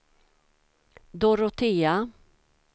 Dorotea